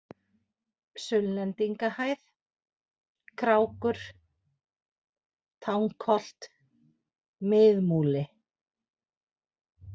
Sunnlendingahæð, Krákur, Tangholt, Mið-Múli